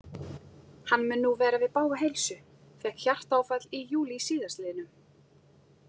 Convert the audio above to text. Hann mun nú vera við bága heilsu, fékk hjartaáfall í júlí s.l.